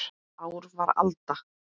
Ár var alda